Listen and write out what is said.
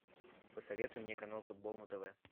посоветуй мне канал футбол на тв